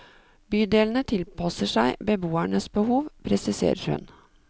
Bydelene tilpasser seg beboernes behov, presiserer hun.